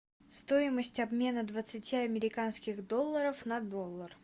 стоимость обмена двадцати американских долларов на доллар